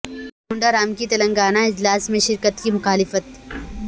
کونڈہ رام کی تلنگانہ اجلاس میں شرکت کی مخالفت